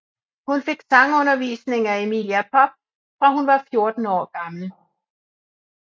Hun fik sangundervisning af Emilia Popp fra hun var 14 år gammel